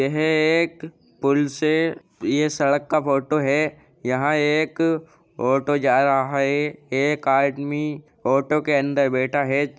यह एक पुल से ये सड़क का फोटो है। यहाँ एक ऑटो जा रहा है एक आदमी ऑटो के अंदर बैठा है।